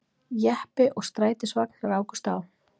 Jeppi og strætisvagn rákust á